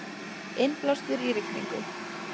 Innblástur í rigningu